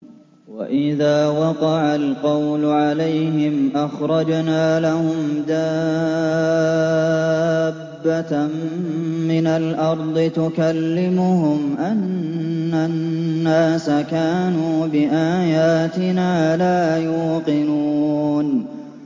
۞ وَإِذَا وَقَعَ الْقَوْلُ عَلَيْهِمْ أَخْرَجْنَا لَهُمْ دَابَّةً مِّنَ الْأَرْضِ تُكَلِّمُهُمْ أَنَّ النَّاسَ كَانُوا بِآيَاتِنَا لَا يُوقِنُونَ